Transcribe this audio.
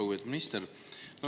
Lugupeetud minister!